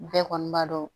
Bɛɛ kɔni b'a dɔn